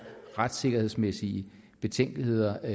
retssikkerhedsmæssige betænkeligheder